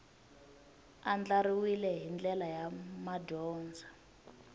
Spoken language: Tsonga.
andlariwile hi ndlela ya madyondza